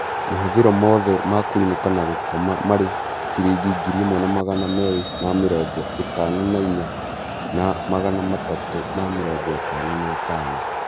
Mahũthĩro mothe ma kũinũka na gũkoma marĩ ciringi 1254 na 355